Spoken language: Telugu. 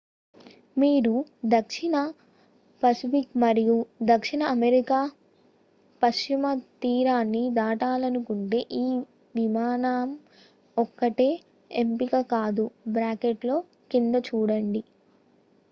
మీరు దక్షిణ పసిఫిక్ మరియు దక్షిణ అమెరికా పశ్చిమ తీరాన్ని దాటాలనుకుంటే ఈ విమానం ఒక్కటే ఎంపిక కాదు.కింద చూడండి